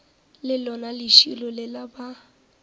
le lona lešilo lela ba